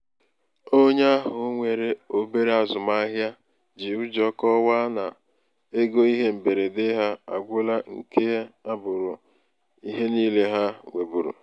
onye ahụ nwere obere azụmahịa ji ụjọ kọwaa na ego ihe mberede ha agwụla nke a abụrụ ihe niile ha nwebuuru.